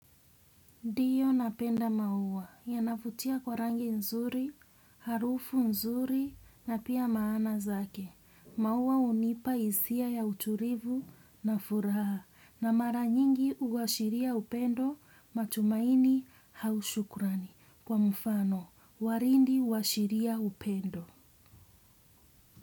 Ndio napenda maua yanavutia kwa rangi nzuri, harufu nzuri na pia maana zake. Maua hunipa hisia ya utulivu na furaha na mara nyingi huashiria upendo matumaini au shukrani kwa mfano waridi huashiria upendo.